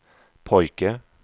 pojke